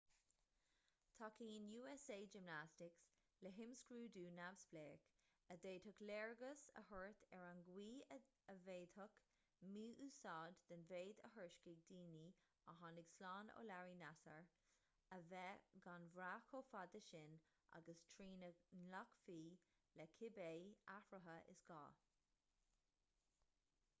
tacaíonn usa gymnastics le himscrúdú neamhspleách a d'fhéadfadh léargas a thabhairt ar an gcaoi a bhféadfadh mí-úsáid den mhéid a thuairiscigh daoine a tháinig slán ó larry nassar a bheith gan bhraith chomh fada sin agus trína nglacfaí le cibé athruithe is gá